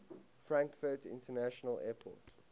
frankfurt international airport